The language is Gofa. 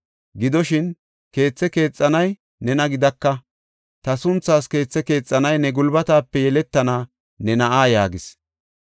Gidoshin, keethe keexanay nena gidaka; ta sunthaas keethe keexanay ne gulbatape yeletana ne na7aa’ yaagis.